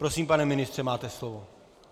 Prosím, pane ministře, máte slovo.